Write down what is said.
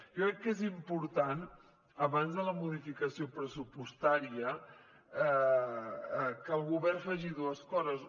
jo crec que és important abans de la modificació pressupostària que el govern faci dues coses